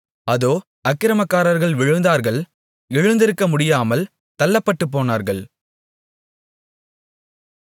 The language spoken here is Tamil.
அதோ அக்கிரமக்காரர்கள் விழுந்தார்கள் எழுந்திருக்கமுடியாமல் தள்ளப்பட்டுபோனார்கள்